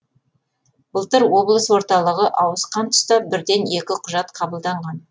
былтыр облыс орталығы ауысқан тұста бірден екі құжат қабылданған